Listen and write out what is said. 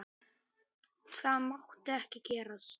Það mátti ekki gerast.